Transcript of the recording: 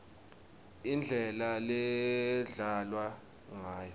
indlela ledlalwa ngayo